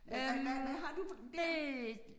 Øh hvad hvad hvad har du på den der